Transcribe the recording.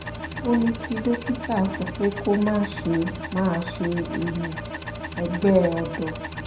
ó ní kí dókítà sọ pé kó má ṣe máa ṣe ìyín-ẹ̀gbẹ́ ọ̀dọ́